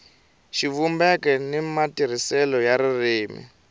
xivumbeko ni matirhisele ya ririmi